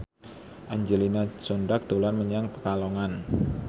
Angelina Sondakh dolan menyang Pekalongan